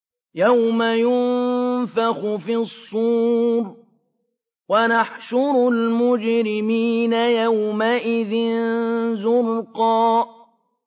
يَوْمَ يُنفَخُ فِي الصُّورِ ۚ وَنَحْشُرُ الْمُجْرِمِينَ يَوْمَئِذٍ زُرْقًا